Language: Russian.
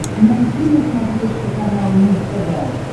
найти на смотрешке канал муз тв